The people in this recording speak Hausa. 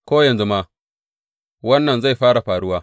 Ko yanzu ma, wannan zai fara faruwa.